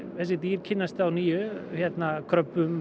þessi dýr kynnast nýju